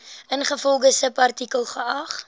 ingevolge subartikel geag